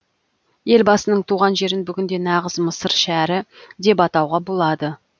елбасының туған жерін бүгінде нағыз мысыр шәрі деп атауға болады